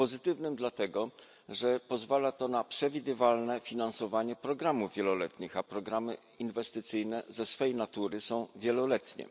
Pozytywnym dlatego, że pozwalają na przewidywalne finansowanie programów wieloletnich, a programy inwestycyjne ze swej natury są wieloletnie.